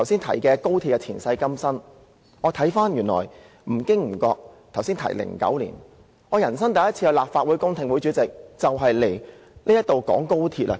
回顧高鐵的前世今生，我發現我在剛才提及的2009年，出席了我人生第一次的立法會公聽會，當時的議題正與高鐵有關。